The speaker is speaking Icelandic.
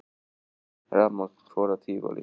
Rafmagn fór af Tívolí